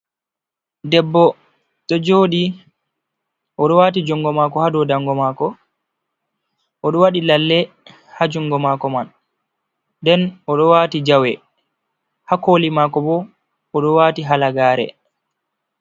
Debbo ɗo jooɗi oɗo waati jungo mako ha dou dango mako, oɗo waɗi lalle ha jungo mako man, nden oɗo waati jawe, ha koli maako bo oɗo waati hala gare.